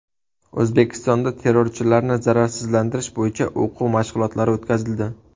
O‘zbekistonda terrorchilarni zararsizlantirish bo‘yicha o‘quv mashg‘ulotlari o‘tkazildi.